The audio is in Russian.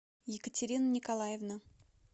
екатерина николаевна